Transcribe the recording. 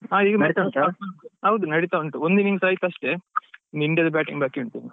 ಹಾ ಹೌದು ನಡಿತಾ ಉಂಟು, ಒಂದು innings ಆಯತಸ್ಟೇ ಇನ್ India ದ batting ಬಾಕಿ ಉಂಟು ಇನ್ನು.